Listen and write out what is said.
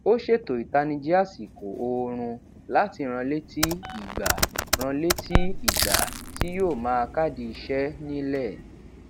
ó ṣètò ìtanijí àsìkò oorun láti ranlétí ìgbà ranlétí ìgbà tí yóó máa kádì iṣé nílẹ